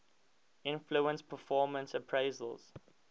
influence performance appraisals